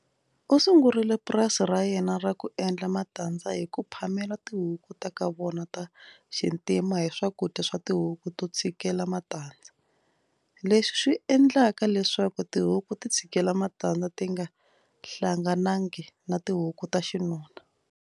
U sungurile purasi ra yena ra ku endla matandza hi ku phamela tihuku ta ka vona ta xintima hi swakudya swa tihuku to tshikela matandza, leswi swi endlaka leswaku tihuku ti tshikela matandza ti nga hlanganangi na tihuku ta xinuna.